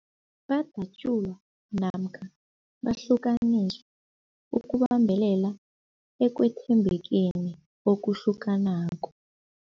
Badatjulwa, namkha bahlukaniswa ukubambelela ekwethembekeni okuhlukanako.